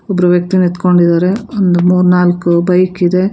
ಒಬ್ಬ್ರು ವ್ಯಕ್ತಿ ನಿಂತ್ಕೊಂಡಿದರೆ ಒಂದ್ ಮೂರ್ನಾಲ್ಕು ಬೈಕ್ ಇದೆ.